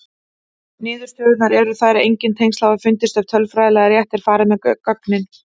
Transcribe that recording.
Niðurstöðurnar eru þær að engin tengsl hafa fundist ef tölfræðilega rétt er farið með gögnin.